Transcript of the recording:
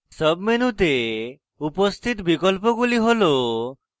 sub মেনুতে উপস্থিত বিকল্পগুলি হল: